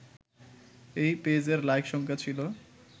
এই পেজের লাইক সংখ্যা ছিল